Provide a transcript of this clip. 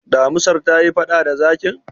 damisar ta yi faɗa da zakin?